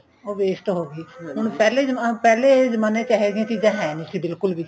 ਉਹ waste ਹੋਗੀ ਹੁਣ ਪਹਿਲੇ ਜਮਾਨੇ ਚ ਏਹ ਜੀਆਂ ਚੀਜਾਂ ਹੈਨੀ ਨਹੀਂ ਸੀ ਬਿਲਕੁਲ ਵੀ